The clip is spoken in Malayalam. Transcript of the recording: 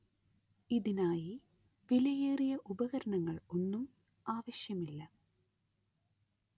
ഇതിനായി വിലയേറിയ ഉപകരണങ്ങള്‍ ഒന്നും ആവശ്യമില്ല